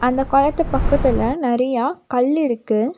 அந்த கொளத்து பக்கத்துல நறையா கல் இருக்கு.